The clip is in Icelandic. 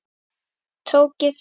Tók ég því?